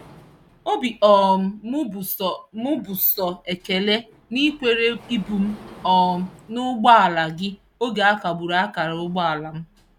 Obi um m bụ sọ m bụ sọ ekele na ị kwere ibu m um n'ụgbọala gị oge akagburu akara ụgbọala m.